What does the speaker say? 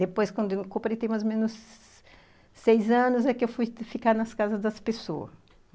Depois, quando eu completei mais ou menos seis anos, é que eu fui ficar nas casas das pessoas.